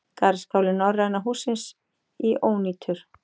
Garðskáli Norræna hússins í ónýtur